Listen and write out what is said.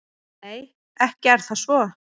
Nei, ekki er það svo.